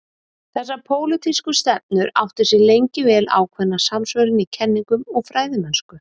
þessar pólitísku stefnur áttu sér lengi vel ákveðna samsvörun í kenningum og fræðimennsku